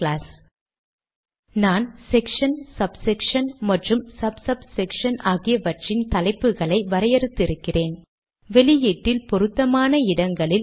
விடுனரின் முகவரி கடிதத்தின் முதல் அங்கமாகும்